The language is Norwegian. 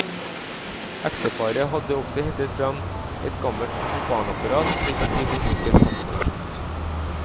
Ekteparet har også hentet frem et gammelt propanapparat, slik at de får slukket kaffetørsten.